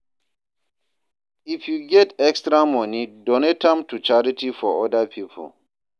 If yu get extra moni, donate am to charity for oda pipo.